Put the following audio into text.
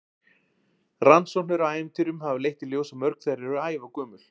Rannsóknir á ævintýrum hafa leitt í ljós að mörg þeirra eru ævagömul.